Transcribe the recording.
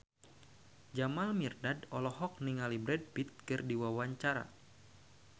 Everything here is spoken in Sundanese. Jamal Mirdad olohok ningali Brad Pitt keur diwawancara